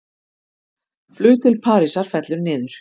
Flug til Parísar fellur niður